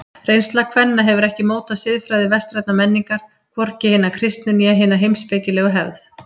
Reynsla kvenna hefur ekki mótað siðfræði vestrænnar menningar, hvorki hina kristnu né hina heimspekilegu hefð.